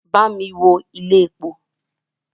Bámi wo ilé epo!